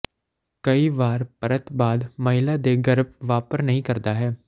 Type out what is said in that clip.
ਕਈ ਵਾਰ ਪਰਤ ਬਾਅਦ ਮਹਿਲਾ ਦੇ ਗਰਭ ਵਾਪਰ ਨਹੀ ਕਰਦਾ ਹੈ